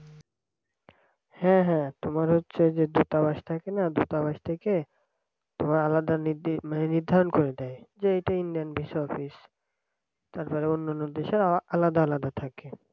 হ্যাঁ হ্যাঁ তোমার হচ্ছে যে দূতাবাস থাকে না দূতাবাস থেকে তোমার আলাদা নে মানে নির্ধারণ করে দেয়। যে এটা indian visa office তারপরে অন্যান্য দেশের আলাদা আলাদা থাকে।